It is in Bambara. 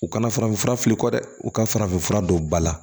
U kana farafinfura fili kɔ dɛ u ka farafinfura don ba la